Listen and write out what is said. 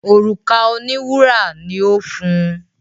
òrùka òní wúrà ní o fún.